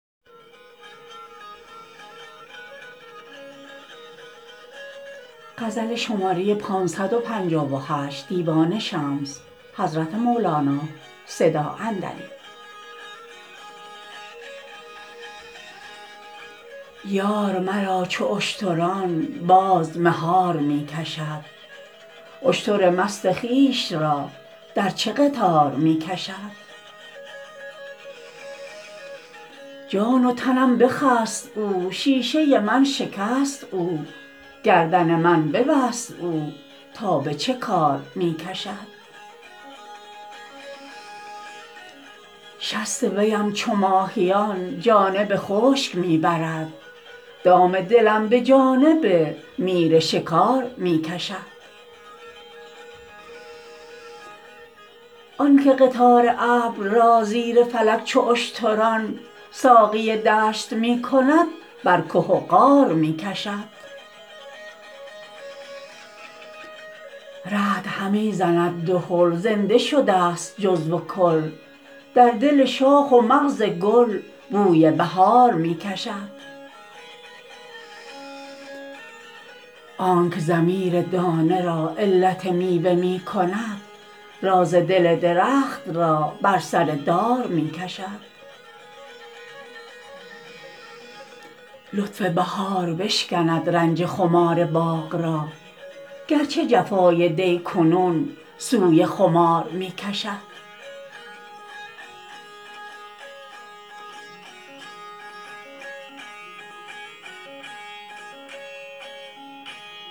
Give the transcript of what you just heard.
یار مرا چو اشتران باز مهار می کشد اشتر مست خویش را در چه قطار می کشد جان و تنم بخست او شیشه من شکست او گردن من به بست او تا به چه کار می کشد شست ویم چو ماهیان جانب خشک می برد دام دلم به جانب میر شکار می کشد آنک قطار ابر را زیر فلک چو اشتران ساقی دشت می کند برکه و غار می کشد رعد همی زند دهل زنده شدست جزو و کل در دل شاخ و مغز گل بوی بهار می کشد آنک ضمیر دانه را علت میوه می کند راز دل درخت را بر سر دار می کشد لطف بهار بشکند رنج خمار باغ را گرچه جفای دی کنون سوی خمار می کشد